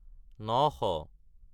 নশ